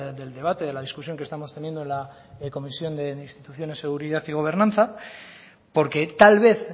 del debate de la discusión que estamos teniendo en la comisión de instituciones seguridad y gobernanza porque tal vez